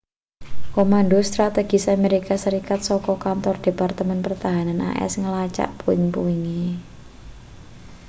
komando strategis amerika serikat saka kantor departemen pertahanan as ngelacak puing-puinge